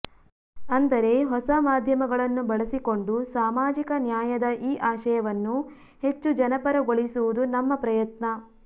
ಅಂದರೆ ಹೊಸ ಮಾಧ್ಯಮಗಳನ್ನು ಬಳಸಿಕೊಂಡು ಸಾಮಾಜಿಕ ನ್ಯಾಯದ ಈ ಆಶಯವನ್ನು ಹೆಚ್ಚು ಜನಪರಗೊಳಿಸುವುದು ನಮ್ಮ ಪ್ರಯತ್ನ